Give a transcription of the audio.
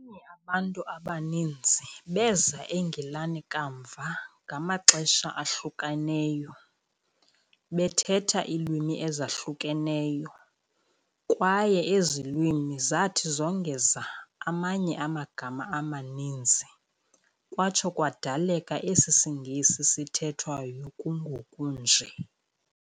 Abanye abantu abaninzi beeza eNgilane kamva ngamaxesha ahlukaneyo, bethetha iilwimi ezahlukeneyo, kwaye ezi lwimi zathi zongeza amanye amagama amaninzi kwatsho kwadaleka esi siNgesi sithethwayo kungoku nje.